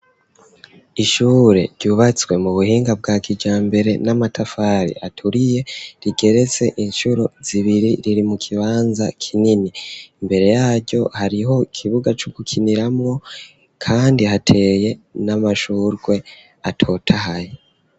Ishure ryubatswe mu buhinga bwa kijambere n'amatafari aturiye rigeretse incuro zibiri riri mu kibanza kinini, imbere yaryo hariho ikibuga co gukiniramwo kandi hateye n'amashurwe atotahaye.